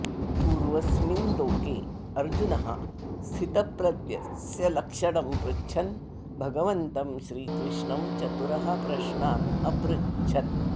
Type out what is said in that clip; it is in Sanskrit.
पूर्वस्मिन् श्लोके अर्जुनः स्थितप्रज्ञस्य लक्षणं पृच्छन् भगवन्तं श्रीकृष्णं चतुरः प्रश्नान् अपृच्छत्